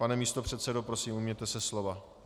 Pane místopředsedo, prosím, ujměte se slova.